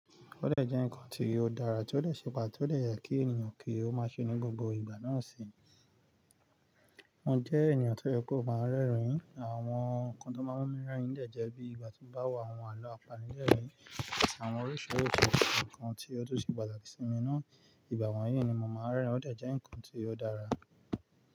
Ó dẹ̀ jẹ́ ǹkan tí ó dára, tí ó lè ṣe pàtó lè yẹ kí ènìyàn kí ó máa ṣe ní gbogbo ìgbà náà sì ń jẹ́ ènìyàn tí ó yẹ kó máa ń rẹ́rìn-ín. Àwọn ǹkan tó máa ń mú mi rẹ́rìn-ín dẹ̀ jẹ́ bí ìgbà tí bá wà, àwọn àlọ́ apànìyàn mi, àwọn oríṣiríṣi ǹkan tí ó tún ṣe pàtàkì sí mi ná. Ìgbà wọ̀nyí ni mò máa ń rẹ́rìn-ín, ó dẹ̀ jẹ́ ǹkan tí ó dára.